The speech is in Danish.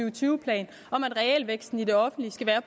og tyve plan om at realvæksten i det offentlige skal være